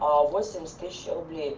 восемьдесят тысяч рублей